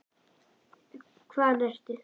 Hvaðan ertu?